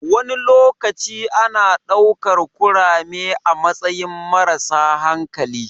Wani lokaci ana ɗaukar kurame a matsayin marasa hankali.